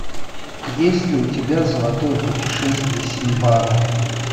есть ли у тебя золотое путешествие синдбада